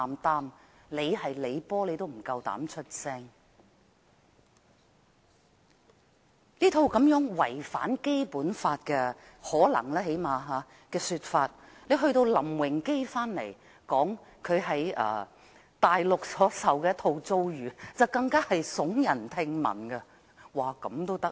當我們聽過這件事可能違反《基本法》的說法後，林榮基返港說出他在大陸所受的遭遇，更是聳人聽聞。